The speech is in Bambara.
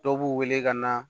Dɔw b'u wele ka na